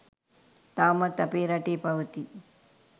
තවමත් අපේ රටේ පවතී